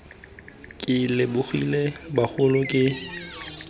ke lebogile bagolo ke batla